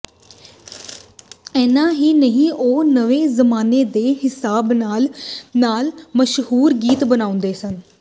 ਇੰਨਾ ਹੀ ਨਹੀਂ ਉਹ ਨਵੇਂ ਜ਼ਮਾਨੇ ਦੇ ਹਿਸਾਬ ਨਾਲ ਨਾਲ ਮਸ਼ਹੂਰ ਗੀਤ ਬਣਾਉਂਦੇ ਸਨ